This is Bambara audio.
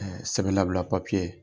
Sɛbɛn labila papiye,